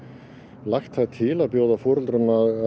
lagt til að bjóða foreldrum